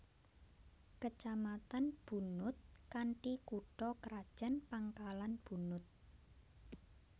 Kecamatan Bunut kanthi kutha krajan Pangkalan Bunut